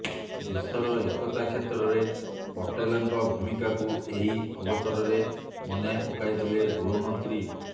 ଦେଶର ଏକତା କ୍ଷେତ୍ରରେ ପଟେଲ୍ଙ୍କ ଭୂମିକାକୁ ଏହି ଅବସରରେ ମନେ ପକାଇଥିଲେ ଗୃହମନ୍ତ୍ରୀ